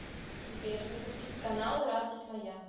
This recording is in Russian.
сбер запустить каналы радость моя